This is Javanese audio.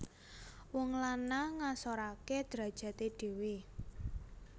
Wong lanang ngasorake drajate dhewe